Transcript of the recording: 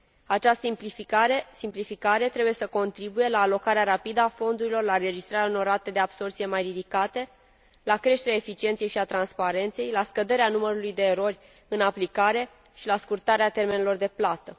Această simplificare trebuie să contribuie la alocarea rapidă a fondurilor, la înregistrarea unor rate de absorbție mai ridicate, la creșterea eficienței și a transparenței, la scăderea numărului de erori în aplicare și la scurtarea termenelor de plată.